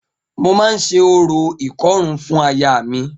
Mo máa ṣe orò ìkọrún fún ayaà mi.